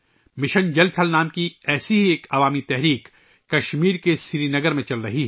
ایسی ہی ایک عوامی تحریک جس کا نام ''مشن جل تھل'' ہے ، کشمیر کے سری نگر میں جاری ہے